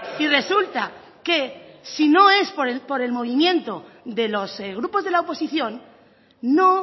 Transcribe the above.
y resulta que si no es por el movimiento de los grupos de la oposición no